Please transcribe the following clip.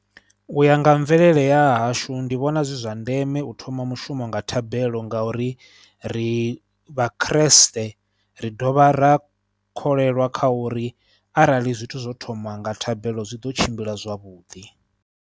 U ya nga mvelele ya hashu ndi vhona zwi zwa ndeme u thoma mushumo nga thabelo ngauri ri vha khirisiṱe, ri dovha ra kholwa kha uri arali zwithu zwo thoma nga thabelo zwi ḓo tshimbila zwavhuḓi.